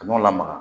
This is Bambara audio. Kaw lamaga